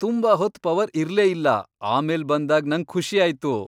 ತುಂಬಾ ಹೊತ್ ಪವರ್ ಇರ್ಲೇ ಇಲ್ಲ ಆಮೇಲ್ ಬಂದಾಗ್ ನಂಗ್ ಖುಷಿ ಆಯ್ತು.